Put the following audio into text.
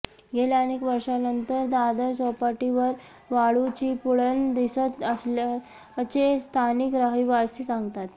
गेल्या अनेक वर्षांनंतर दादर चौपाटीवर वाळूची पुळण दिसत असल्याचे स्थानिक रहिवासी सांगतात